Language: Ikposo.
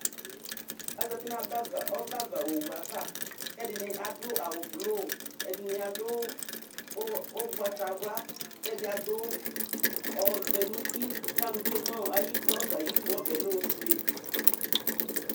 Azati nʋ aba ava, ɔbɛ ava owu ava kʋ ɛdɩnɩ adʋ awʋblʋ, ɛdɩnɩ adʋ ʋgbatawla kʋ ɛdɩ adʋ ɔvɛ nʋ uti kʋ alʋ tsue nʋ ayid ɔbɛ ayidu Ɔbɛ yɛ lɛ ofue